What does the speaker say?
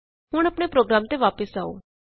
ਹੁਣ ਆਪਣੇ ਪ੍ਰੋਗਰਾਮ ਤੇ ਵਾਪਸ ਆਉ